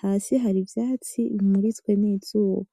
Hasi hari ivyatsi bimuritswe nizuba .